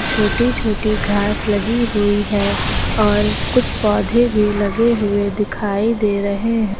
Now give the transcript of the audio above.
छोटी छोटी घास लगी हुई है और कुछ पौधे भी लगे हुए दिखाई दे रहे हैं।